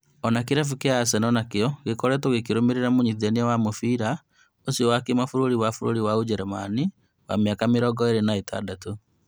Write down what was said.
Kĩrabu kĩa Arsenal nakĩo gĩkoretwo gĩkĩrũmĩrĩra mũnyitithania wa mũbĩra ũcio wa kĩmabũrũri wa bũrũri wa Ũjerũmani wa mĩaka mĩrongo ĩrĩ na ĩtandatû